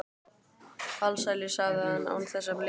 Alsælu, sagði hann án þess að blikna.